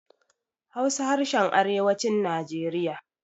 Hausa harshen arewacin najeriya